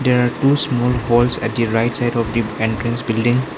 There are two small holes at the right side of the entrance building.